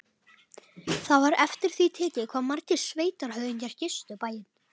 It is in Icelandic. Það var eftir því tekið hvað margir sveitarhöfðingjar gistu bæinn.